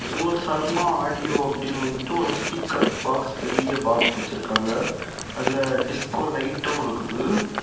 இதுல சர்மாஆடியோ அப்படினு வந்துட்டு ஒரு ஸ்பீக்கர் பாக்ஸ் பெரிய பாக்ஸ் வச்சிருக்காங்க அதுல டிஸ்கோ லைட்டும் இருக்குது.